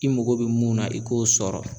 I mago bɛ mun na i k'o sɔrɔ